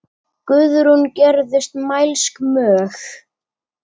Guðrún gerðist mælsk mjög.